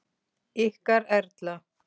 Ykkar Erla.